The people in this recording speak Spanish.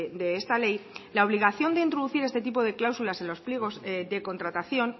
de esta ley la obligación de introducir este tipo de cláusulas en los pliegos de contratación